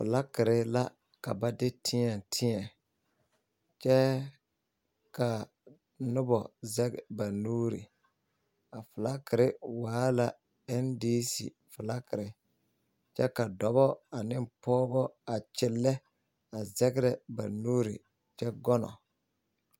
Filakiri la ka ba de tēɛ tēɛ kyɛ ka noba zege ba nuuri a filakiri waa la NDC filakiri kyɛ ka dɔbɔ ne pɔgebɔ a kyɛnlɛ zɛgrɛ ba nuuri kyɛ gɔnnɔ.